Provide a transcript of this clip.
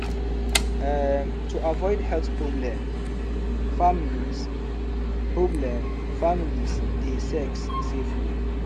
um to avoid health problem families problem families dey sex safely